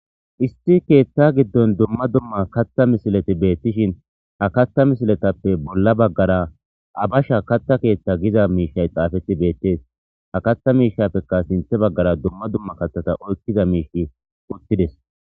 isti keeththa giddon dumma dumma katha misileti beettishin ha katta misiletappe bolla baggara abasha katha keeththa giza miishay xaafeti beettees ha katha miishapekka sinthe baggara dumma dumma katthata oykkiza miishi uttides